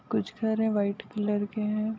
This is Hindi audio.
कुछ घरे व्हाइट कलर के हैं।